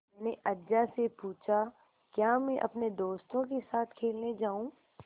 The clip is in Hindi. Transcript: मैंने अज्जा से पूछा क्या मैं अपने दोस्तों के साथ खेलने जाऊँ